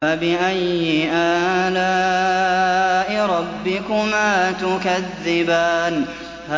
فَبِأَيِّ آلَاءِ رَبِّكُمَا تُكَذِّبَانِ